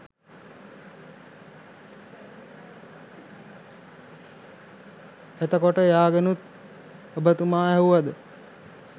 එතකොට එයාගෙනුත් ඔබතුමා ඇහුවද